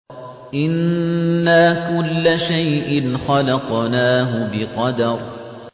إِنَّا كُلَّ شَيْءٍ خَلَقْنَاهُ بِقَدَرٍ